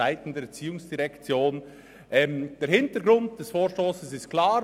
Der Hintergrund des Vorstosses ist klar: